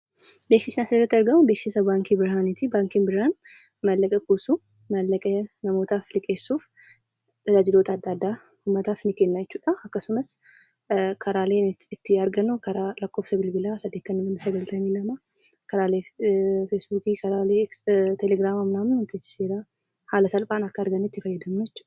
Beeksisni asirratti argamu, beeksisa Baankii Birhaanitii. Baankiin Birhaan maallaqa kuusuu, mallaqa namootaaf liqeessuu, tajaajiloota addaa addaa uummataaf ni kenna jechuudhaa akkasumas karaaleen ittiin argannu, karaa lakkoofsa bilbilaa saddeetama, sagaltamii lama, karaalee 'Feesbookii', karaalee 'Telegiraamaa' haala salphaan akka arginutti fayyadamuu jechuudha.